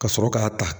Ka sɔrɔ k'a ta